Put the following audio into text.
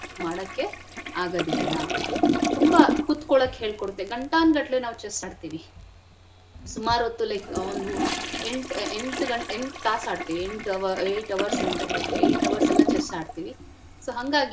ರೀತಿ ಏನು ಮಾಡಕ್ಕೆ ಆಗದಿಲ್ಲ ತುಂಬಾ ಕುತ್ಕೊಳಕ್ ಹೇಳ್ಕೊಡತ್ತೆ ಗಂಟಾನ್ಗಟ್ಲೆ ನಾವ್ chess ಆಡ್ತಿವಿ ಸುಮಾರ್ ಹೊತ್ತು like ಒಂದು ಎಂಟ್ ಎಂಟ್ ಗಂಟೆ ಎಂಟ್ ತಾಸ್ ಆಡ್ತಿವಿ ಎಂಟ್ hours ಅಂತ ಹೇಳ್ತಿವಿ eight hours ಎಲ್ಲಾ chess ಆಡ್ತಿವಿ so .